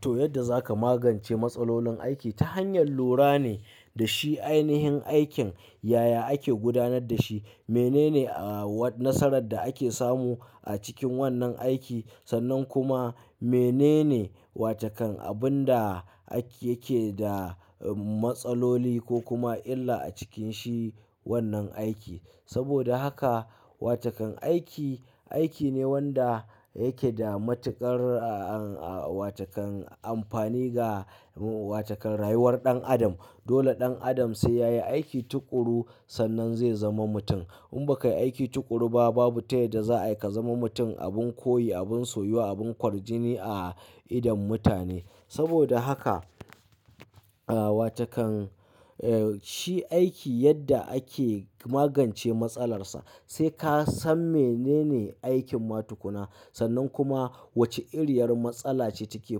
To yadda za ka magance matsalolin aiki ta hanyar lura ne da shi. Ainihin aikin yaya ake gudanar da shi, menene nasarar da ake samu a cikin wannan aiki sannan kuma menene wace kan abin da yake da matsaloli ko kuma illa a cikin shi wannan aiki. Saboda haka wace kan aiki, aiki ne wanda yake da matuƙar wace kan amfani ga wace kan rayuwar ɗan adam. Dole ɗan adam sai yayi aiki tuƙuru sannan zai zama mutum. In ba ka yi aiki tuƙuru ba, babu tayadda za, ayi ka zama mutum. Abin koyi, abin soyuwa, abin ƙwarjini a idon mutane. Saboda haka, wace kan shi aiki yadda ake magance matsalar sa. Sai ka san menene aikin matukuna sannan kuma wace iriyar matsala ce take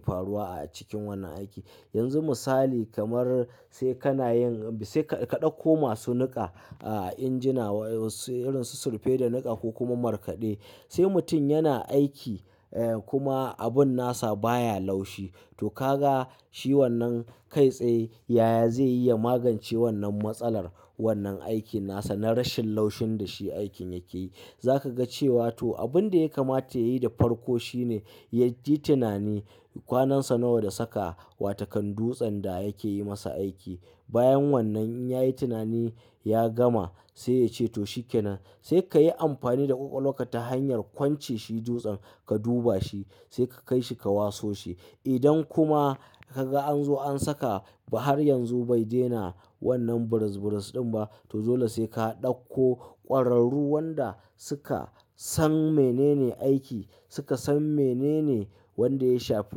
faruwa a cikin wannan aiki. Yanzu misali kamar sai kana yin sai ka ɗakko masu niƙa injina irin su surfe da niƙa ko kuma markaɗe. Sai mutum yana aiki kuma abin nasa baya laushi. To ka ga shi wannan kai tsaye yaya zai yi ya magance wannan matsalar wannan aikin nasa na rashin laushin da shi aikin yake yi. Za ka ga cewa to abin da ya kamata yayi da farko shine ya yi tunani kwanansa nawa da saka wa takan dutsen da yake yi masa aiki. Bayan wannan in ya yi tunani ya gama sai ya ce to shi kenan. Sai ka yi amfani da ƙwaƙwalwarƙa ta hanyar kwance shi dutsen ka duba shi sai ka kai shi ka waso shi. Idan kuma ka ga an zo an saka ba har yanzu bai daina wannan burus-/burus ɗin ba, to dole sai ka ɗauko ƙwararru wanda suka san menene aiki, suka san menene wanda ya shafi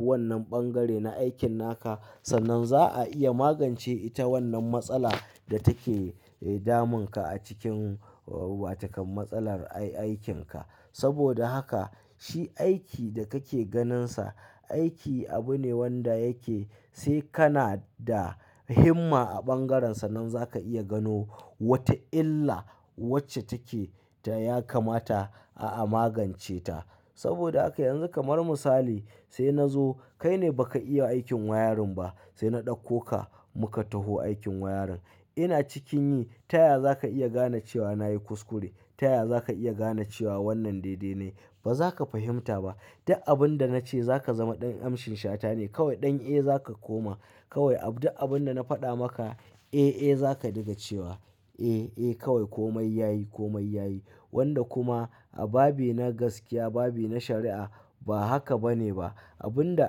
wannan bangare na aikin naka. Sannan za a iya magance ita wannan matsala da take damun ka a cikin wace kan matsalar aikin ka. Saboda haka shi aiki da kake ganinsa, aiki abu ne wanda yake sai kana da himma a ɓangaren sanan za ka iya gano wata illa wacce take ta ya kamata a magance ta. Saboda haka yanzu kamar misali sai na zo kai ne baka iya aikin wayarin ba sai na ɗauko ka muka taho aikin wayarin. Ina cikin yi ta yaya za ka iya gane cewa na yi kuskure, ta yaya za ka iya gane cewa wannan dai dai na yi? Ba za ka fahimta ba. Duk abin da na ce za ka zama ɗan amshin shata ne. Kawai ɗan, eh, za ka koma. Kawai duk abin da na faɗa maka, eh, eh, za ka diga cewa eh, eh, kawai komai yayi komai yayi. Wanda kuma a babi na gaskiya babi na shari'a ba haka bane ba. Abin da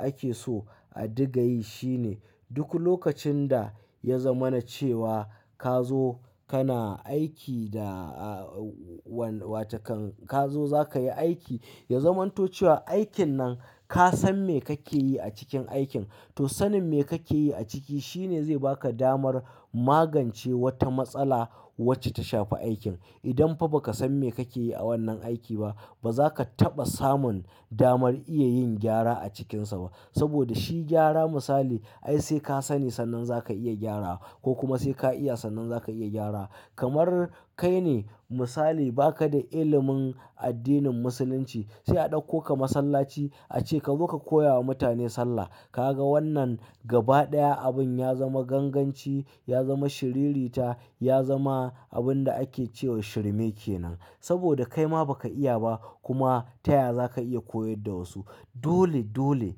ake so a diga yi shi ne duk lokacin da ya zamana cewa ka zo kana aiki da watakan ka zo za ka yi aiki, ya zamanto cewa aikin nan ka san me kake yi a cikin aikin to sanin me kake yi a ciki shi ne zai baka damar magance wata matsala wacce ta shafi aikin. Idan fa ba ka san me kake yi a wannan aiki ba, ba za ka taɓa samun damar iya yin gyara a cikinsa ba. Saboda shi gyara misali ai sai ka sani sannan za ka iya gyarawa, ko kuma sai ka iya sannan za ka iya gyarawa. Kamar kai ne misali ba ka da ilimin addinin musulunci sai a ɗauko ka masallaci a ce ka zo ka koya wa mutane sallah. Ka ga wannan gaba ɗaya abin ya zama ganganci, ya zama shiriri ta, ya zama abin da ake cewa shirme kenan. Saboda kai ma ba ka iya ba kuma ta yaya za ka iya koyar da wasu. Dole, dole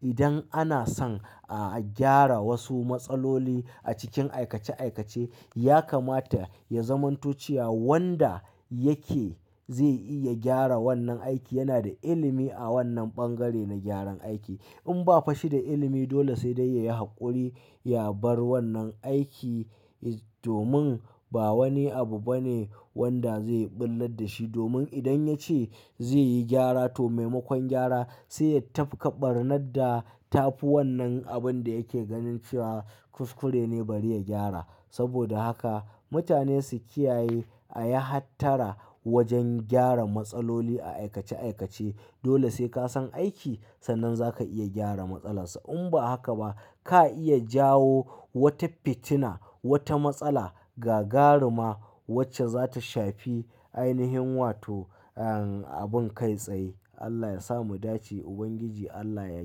idan ana son a gyara wasu matsaloli a cikin aikace-aikace ya kamata ya zamanto cewa wanda yake zai iya gyara wannan aiki yana da ilimi a wannan ɓangare na gyaran aiki. In ba fa shi da ilimi dole sai dai ya yi haƙuri ya bar wannan aiki domin ba wani abu bane wanda zai ɓullar da shi. Domin idan ya ce zai yi gyara to maimakon gyara sai ya tafka ɓarnar da ta fi wannan abin da yake ganin cewa kuskure ne bari ya gyara. Saboda haka mutane su kiyaye a yi hattara wajen gyara matsaloli a aikace aikace. Dole sai ka san aiki sannan za ka iya gyara matsalar sa. In ba haka ba ka iya jawo wata fitina, wata matsala gagaruma wacce za ta shafi ainihin wato abin kai tsaye. Allah ya sa mu dace, Ubangiji Allah ya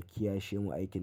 kiyashe mu aikin nan.